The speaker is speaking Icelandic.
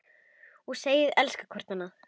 Og segjast elska hvort annað.